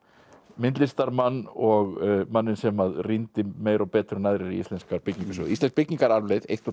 myndlistarmann og manninn sem að rýndi meira og betur en aðrir í íslenska byggingarsögu íslensk byggingararfleifð eins og